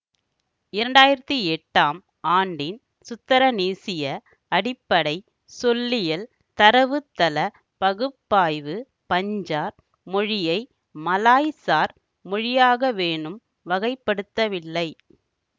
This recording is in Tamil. இரண்டாயிரத்தி எட்டாம் ஆண்டின் சுத்திரனீசிய அடிப்படை சொல்லியல் தரவுத்தளப் பகுப்பாய்வு பஞ்சார் மொழியை மலாய்சார் மொழியாகவேனும் வகைப்படுத்தவில்லை